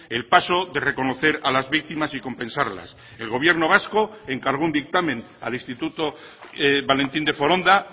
el paso de reconocer a las víctimas y compensarlas el gobierno vasco encargó un dictamen al instituto valentín de foronda